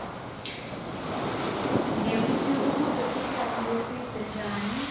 nekutsi ubuse sikhatsi lesibze njani